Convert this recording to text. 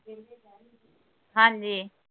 ਹਾਂਜੀ